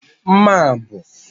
Mma a bụ